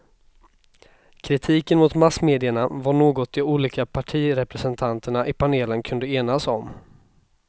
Kritiken mot massmedierna var något de olika partirepresentanterna i panelen kunde enas om.